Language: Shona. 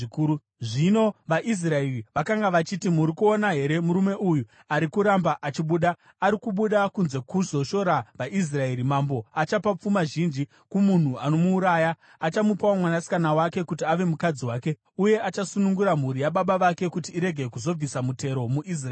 Zvino vaIsraeri vakanga vachiti, “Muri kuona here murume uyu ari kuramba achibuda? Ari kubuda kunze kuzoshora vaIsraeri. Mambo achapa pfuma zhinji kumunhu anomuuraya. Achamupawo mwanasikana wake kuti ave mukadzi wake, uye achasunungura mhuri yababa vake kuti irege kuzobvisa mutero muIsraeri.”